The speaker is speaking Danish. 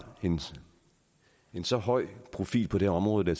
en så høj profil på det område giver